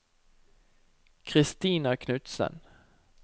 Christina Knutsen